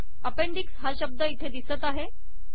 appendix हा शब्द इथे दिसत आहे